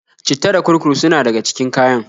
citta da kurkur suna daga cikin kayan.